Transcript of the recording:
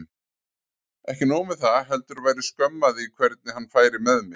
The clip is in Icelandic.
Ekki nóg með það, heldur væri skömm að því hvernig hann færi með mig.